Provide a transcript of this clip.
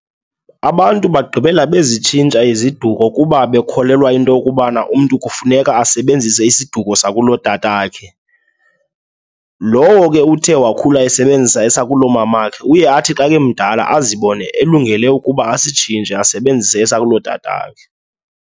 Abantu bagqibela bezitshintsha iziduko kuba bekholelwa into yokubana umntu kufuneka asebenzise isiduko sakulotatakhe. Lowo ke uthe wakhula esebenzisa esakulo mamakhe uye athi xa kemdala azibone elungele ukuba asitshintshe asebenzise esakulotatakhe.